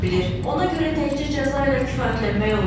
Ona görə təkcə cəza ilə kifayətlənmək olmaz.